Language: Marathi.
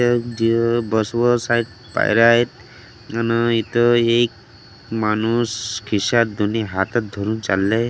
आहेत पायऱ्या आहेत अन इथ एक माणूस खिशात दोनी हातत धरून चालले आहे .